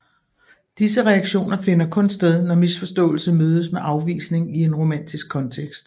Disse reaktioner finder kun sted når misforståelse mødes med afvisning i en romantisk kontekst